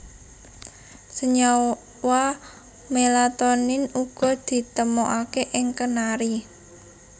Senyawa melatonin uga ditemokaké ing kenari